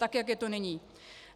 Tak jak je to nyní.